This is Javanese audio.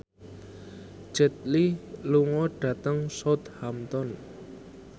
Jet Li lunga dhateng Southampton